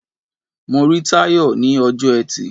Mo rí Táyọ̀ ní ọjọ́ Ẹtì.